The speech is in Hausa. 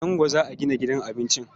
A Zango za a gina gidan abincin.